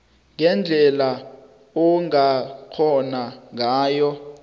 ngendlela ongakhgona ngayo